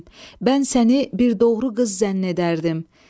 Səlim, mən səni bir doğru qız zənn edərdim.